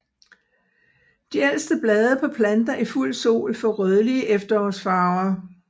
De ældste blade på planter i fuld sol får rødlige efterårsfarver